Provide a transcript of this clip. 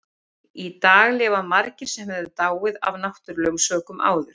Í dag lifa margir sem hefðu dáið af náttúrulegum sökum áður.